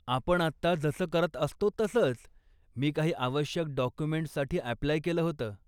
आपण आत्ता जसं करत असतो तसंच, मी काही आवश्यक डॉक्युमेंट्ससाठी अप्लाय केलं होतं.